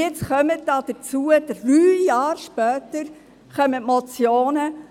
Jetzt kommen Motionen hierzu – drei Jahre später!